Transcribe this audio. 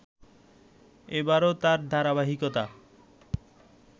এবারো তার ধারাবাহিকতা